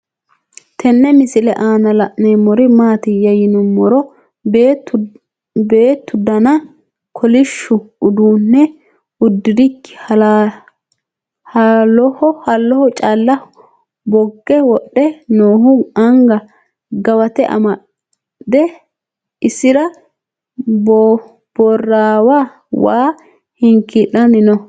Tenne misile aanna la'neemmori maattiya yinummoro beettu danna kolishshu uduunne udirikki halloho calla bogge wodhe noohu anga gawatte amadde isera boorrewa wa hinkiilanni noo.